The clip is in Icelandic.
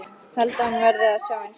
Held að hún verði að sjá einsog ég.